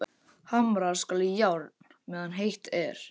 Hamra skal járn meðan heitt er.